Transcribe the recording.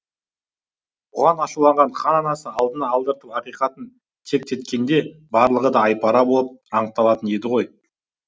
бұған ашуланған хан анасын алдына алдыртып ақиқатын тектеткенде барлығы да айпара болып анықталатын еді ғой